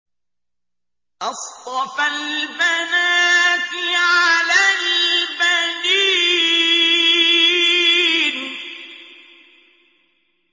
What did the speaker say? أَصْطَفَى الْبَنَاتِ عَلَى الْبَنِينَ